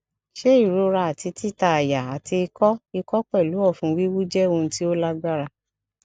se irora ati tita aya ati iko iko pelu ofun wiwu je ohun ti o lagbara